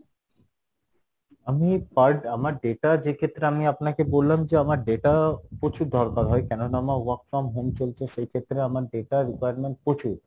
আমি per আমার data যেক্ষেত্রে আমি আপনাকে বললাম যে আমার data প্রচুর দরকার হয় কেননা আমার work from home চলছে সেইক্ষেত্রে আমার data requirement প্রচুর